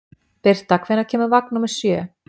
Birta, hvenær kemur vagn númer sjö?